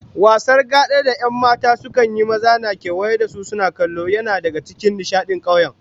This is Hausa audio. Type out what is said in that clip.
Wasar gada da 'yan mata sukan yi, maza na kewaye da su suna kallo, yana daga cikin nishadin kauye